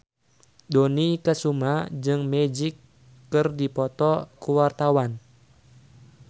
Dony Kesuma jeung Magic keur dipoto ku wartawan